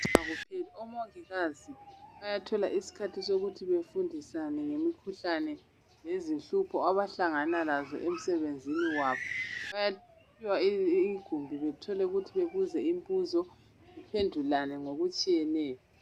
Ukufunda akupheli. Omongikazi bayathola isikhathi sokuthi bafundisane ngemikhuhlane nezinhlupho abahlangana lazo emsebenzini wabo. Bayaphiwa igumbi bethole ukuthi bebuze imbuzo bephendulane ngokutshiyeneyo.